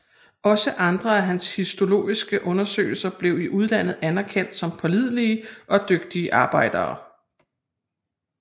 Også andre af hans histologiske undersøgelser blev i udlandet anerkendte som pålidelige og dygtige arbejder